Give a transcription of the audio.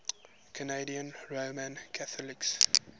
canadian roman catholics